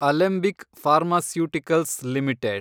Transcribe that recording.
Alembic pharmaceuticals limited